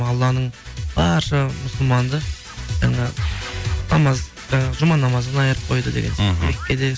алланың барша мұсылманды жаңа намаз жаңа жұма намазынан айрып қойды деген сияқты мхм меккеде